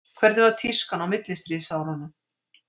Hvernig var tískan á millistríðsárunum?